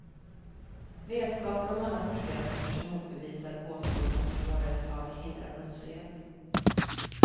Vetskapen om alla forskarrapporter som motbevisar påståendet om att hårdare tag hindrar brottslighet.